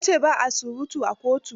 Ya ce ba a surutu a kotu.